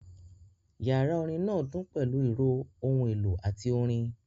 Yàrá orin náà dún pẹ̀lú ìró ohun èlò àti orin